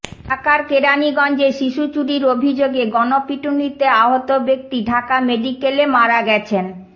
ঢাকার কেরানীগঞ্জে শিশু চুরির অভিযোগে গণপিটুনিতে আহত ব্যক্তি ঢাকা মেডিকেলে মারা গেছেন